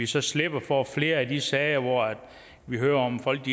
så slipper for flere af de sager hvor vi hører om folk